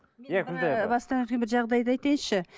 бастан өткен бір жағдайды айтайыншы